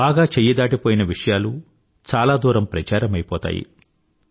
బాగా చెయ్యి దాటిపోయిన విషయాలు చాలా దూరం ప్రచారమైపోతాయి